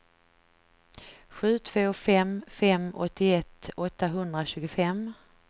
sju två fem fem åttioett åttahundratjugofem